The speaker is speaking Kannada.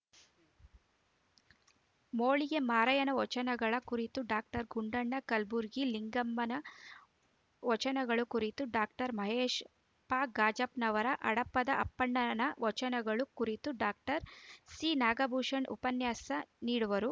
ಮೋಳಿಗೆ ಮಾರಯ್ಯನ ವಚನಗಳ ಕುರಿತು ಡಾಕ್ಟರ್ ಗುಂಡಣ್ಣ ಕಲಬುರ್ಗಿ ಲಿಂಗಮ್ಮನ ವಚನಗಳ ಕುರಿತು ಡಾಕ್ಟರ್ ಮಹೇಶ ಫಗಾಜಪ್ಪನವರ ಹಡಪದ ಅಪ್ಪಣ್ಣನ ವಚನಗಳು ಕುರಿತು ಡಾಕ್ಟರ್ ಸಿನಾಗಭೂಷಣ ಉಪನ್ಯಾಸ ನೀಡುವರು